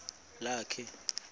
lakhe